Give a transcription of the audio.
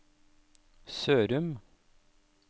Sørum